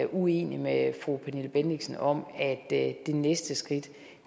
uenig med fru pernille bendixen om at det næste skridt